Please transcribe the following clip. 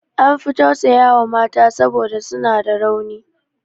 An fi tausaya wa mata saboda suna da rauni.